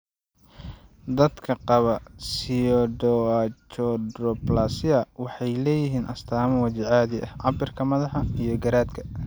Dadka qaba pseudoachondroplasia waxay leeyihiin astaamo waji caadi ah, cabbirka madaxa, iyo garaadka.